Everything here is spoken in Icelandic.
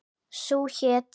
Sú hét